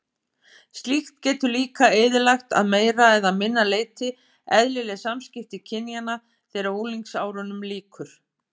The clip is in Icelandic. Slíkt getur líka eyðilagt að meira eða minna leyti eðlileg samskipti kynjanna þegar unglingsárunum lýkur.